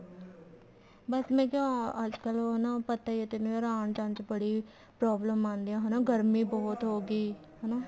ਬੱਸ ਮੈਂ ਕਿਹਾ ਅੱਜਕਲ ਉਹ ਨਾ ਪਤਾ ਹੀ ਹੈ ਤੈਨੂੰ ਯਾਰ ਆਉਣ ਜਾਣ ਚ ਬੜੀ problem ਆਉਂਦੀ ਆ ਗਰਮੀ ਬਹੁਤ ਹੋਗੀ ਹਨਾ